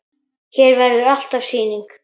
Hér verður alltaf sýning.